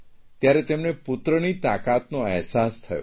ત્યારે તેમને પુત્રની તાકાતનો અહેસાસ થયો